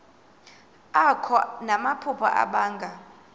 akho namaphupha abanga